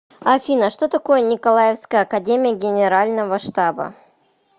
афина что такое николаевская академия генерального штаба